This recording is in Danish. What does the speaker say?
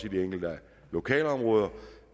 i de enkelte lokalområder